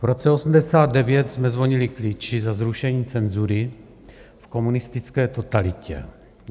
V roce 1989 jsme zvonili klíči za zrušení cenzury v komunistické totalitě.